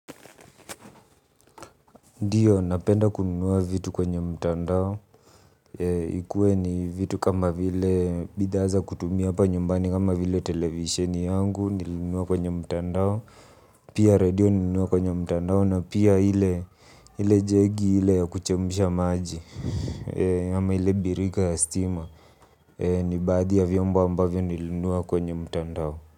Ndiyo, napenda kununua vitu kwenye mtandao. Ikuwe ni vitu kama vile bidhaa za kutumia hapa nyumbani kama vile televisheni yangu nilinunua kwenye mtandao. Pia radio nilinunua kwenye mtandao na pia ile ile jegi ile ya kuchemsha maji. Ama ile birika ya stima. Ni baadhi ya vyombo ambavyo nilinunua kwenye mtandao.